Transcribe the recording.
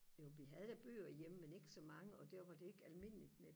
jo vi havde da bøger hjemme men ikke så mange og der var det ikke almindeligt med